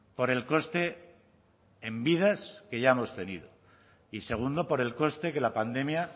por el coste en vidas que ya hemos tenido y segundo por el coste que la pandemia